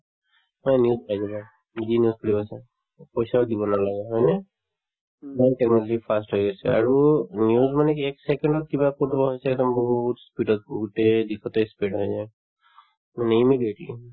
তোমাৰ news আহিব যদি news খুলি আছা উম পইচাও দিব নালাগে হয় নে ইমান technology fast হৈ আছে আৰু news মানে কি এক second ত কিবা কৰবাত হৈছে বহুত speed গোটে গোটেই দিশতে spread হৈ যায় মানে immediately